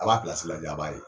A b'a lajɛ, a b'a ye.